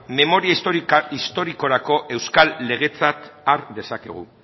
memoria historikorako euskal legetzat har dezakegu